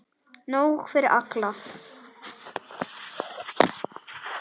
Nóg fyrir alla!